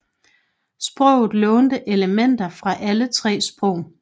Sproget lånte elementer fra alle tre sprog